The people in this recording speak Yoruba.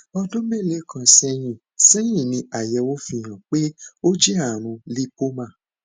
ọdún mélòó kan sẹyìn sẹyìn ni àyẹwò fi hàn pé ó jẹ ààrùn lípómà